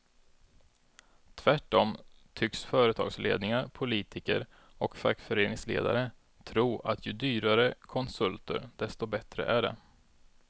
Tvärtom tycks företagsledningar, politiker och fackföreningsledare tro att ju dyrare konsulter desto bättre är det.